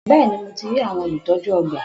Bẹ́ẹ̀ni, mo ti rí àwọn olùtọ́jú ọgbà.